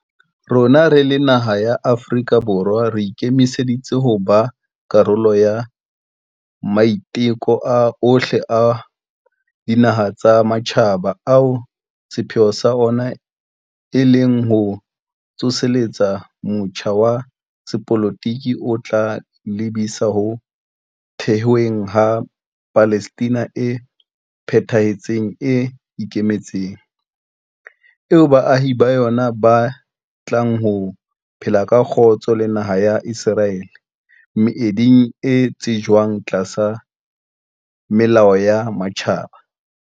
Rona re le Afrika Borwa re ikemiseditse ho ba karolo ya maiteko ohle a dinaha tsa matjhaba ao sepheo sa ona e leng ho tsoseletsa motjha wa sepolotiki o tla lebisa ho thehweng ha Palestina e phethahetseng e ikemetseng, eo baahi ba yona ba tlang ho phela ka kgotso le naha ya Iseraele, meeding e tsejwang tlasa melao ya matjhaba.